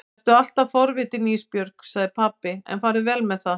Vertu alltaf forvitin Ísbjörg, sagði pabbi, en farðu vel með það.